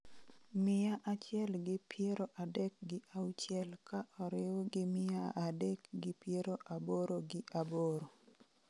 mia achiel gi piero adek gi auchiel ka oriw gi mia adek gi piero aboro gi abiro